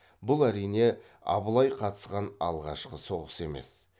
бұл әрине абылай қатысқан алғашқы соғыс емес